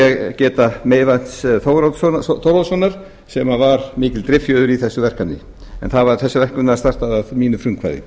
svo vil ég geta meyvants þóroddssonar sem var mikil driffjöður í þessu verkefni en þessu verkefni var startað að mínu frumkvæði